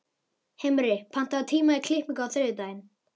Himri, pantaðu tíma í klippingu á þriðjudaginn.